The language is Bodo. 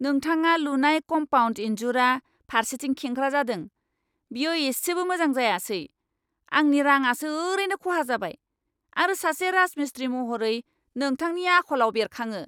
नोंथाङा लुनाय कम्पाउन्ड इनजुरआ फारसेथिं खेंख्रा जादों, बेयो एसेबो मोजां जायासै, आंनि राङासो ओरैनो खहा जाबाय, आरो सासे राजमिस्त्री महरै नोंथांनि आखलाव बेरखाङो।